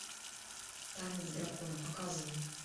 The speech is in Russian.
танец дракона показывай